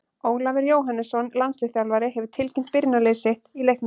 Ólafur Jóhannesson, landsliðsþjálfari, hefur tilkynnt byrjunarlið sitt í leiknum.